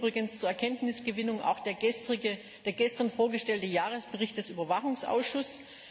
Da hilft übrigens zur Erkenntnisgewinnung auch der gestern vorgestellte Jahresbericht des Überwachungsausschusses.